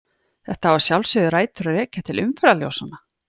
Þetta á að sjálfsögðu rætur að rekja til umferðarljósanna.